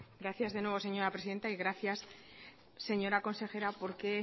gracias de nuevo señora presidenta y gracias señora consejera porque